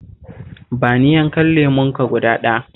Ba ni yankan lemonka guda ɗaya